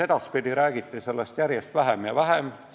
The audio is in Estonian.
Edaspidi räägiti sellest järjest vähem ja vähem.